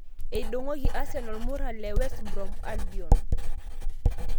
Eidongoki Arsenal muran le West Brom Albion.